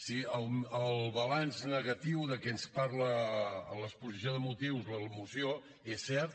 si el balanç negatiu de què ens parla l’exposició de motius de la moció és cert